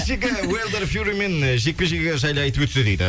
кешегі уайлдер фьюримен жекпе жегі жайлы айтып өтсе дейді